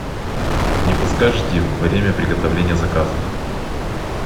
не подскажите время приготовления заказа